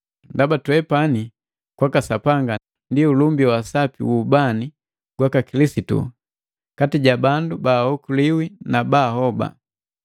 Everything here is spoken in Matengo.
Ndaba twepani kwaka Sapanga ndi ulumba wa sapi wu ubani gwaka Kilisitu kati ja bandu baaokoliwi na baahoba.